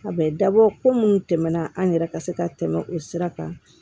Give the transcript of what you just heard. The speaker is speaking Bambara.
A bɛ dabɔ ko munnu tɛmɛna an yɛrɛ ka se ka tɛmɛ o sira kan